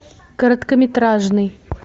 короткометражный